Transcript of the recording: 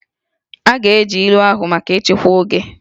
A ga-eji ilu ahụ maka nchịkwa oge